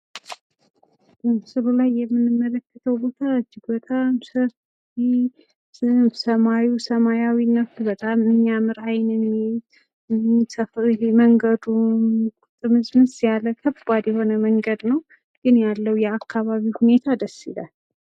በምስሉ ላይ የምንመለከተዉ ቦታ እጅግ በጣም ሰፊ! ሰማዩ ሰማያዊቱ በጣም የሚያምር አይን የሚይዝ፤ መንገዱ ጥምዝምዝ ያለ በጣም ከባድ መንገድ ነዉ። ግን ያለዉ የአካባቢዉ ሁኔታ ደስ ይላል።